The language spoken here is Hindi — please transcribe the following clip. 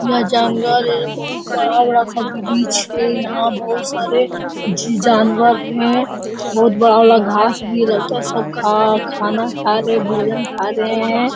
यह जंगल है ये बहुत बड़ा-बड़ा सा वृक्ष है यहाँ पर बहुत सारे जी जानवर है बहुत बड़ा वाला घास भी लगता है सब खा खाना खा रहे हैं भोजन खा रहे हैं।